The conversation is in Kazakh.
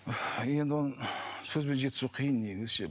енді оны сөзбен жеткізу қиын негізі ше